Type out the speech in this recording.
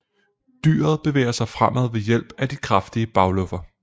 Dyret bevæger sig fremad ved hjælp af de kraftige bagluffer